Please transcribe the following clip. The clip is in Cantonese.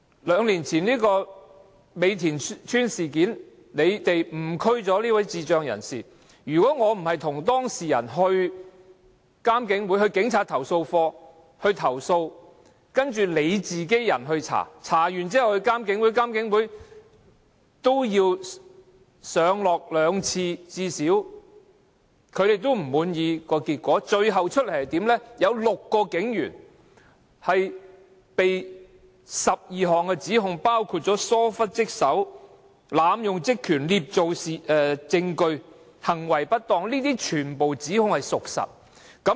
兩年前警方在美田邨錯誤拘捕一名智障人士，我當時與當事人向獨立監察警方處理投訴委員會、向警察投訴課投訴，警方作出調查後交監警會跟進，監警會因為不滿意結果，因此再進行調查，最終對6名警員作出12項指控，包括玩忽職守、濫用職權、捏造證據、行為不當，全部屬實。